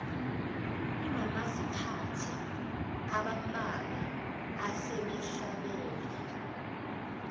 kunomaziphathe abambalwa asebehlabele